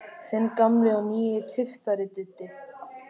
Þinn gamli og nýi tyftari, Diddi.